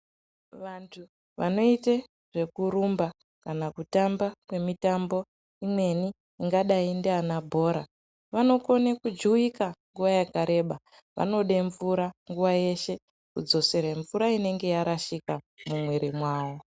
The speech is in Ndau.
Vantu vanoite zvekurumba, kana kutamba kwemitambe imweni ingadai ndianabhora, vanokone kujuwika nguwa yakareba. Vanode mvura nguwa yeshe, kudzosere mvura inenge yarashika mumwiiri mwavo.